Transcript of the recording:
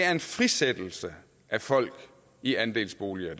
er en frisættelse af folk i andelsboliger